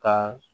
Ka